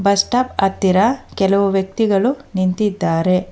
Bus stop ಹತ್ತಿರ ಕೆಲವು ವ್ಯಕ್ತಿಗಳು ನಿಂತಿದ್ದಾರೆ.